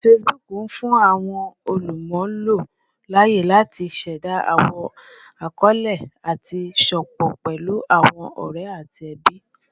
Facebook n fun awọn olumulo laaye lati ṣẹda awọn akọọlẹ ati sopọ pẹlu awọn ọrẹ ati ẹbi